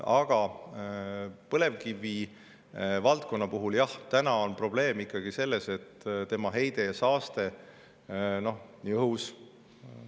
Aga põlevkivivaldkonna puhul, jah, on probleem ikkagi selle heites ja saastes, ka õhu.